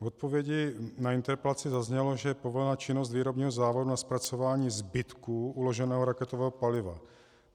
V odpovědi na interpelaci zaznělo, že je povolená činnost výrobního závodu na zpracování zbytků uloženého raketového paliva.